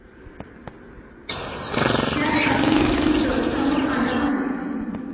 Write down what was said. त्यात अजून एक वृत्त समोर आलं आहे.